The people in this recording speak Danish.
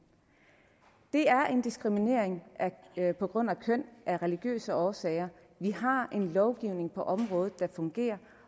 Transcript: det er en diskriminering på grund af køn af religiøse årsager vi har en lovgivning på området der fungerer